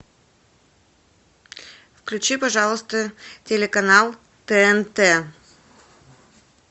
включи пожалуйста телеканал тнт